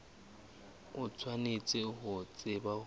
o tshwanetse ho tseba hore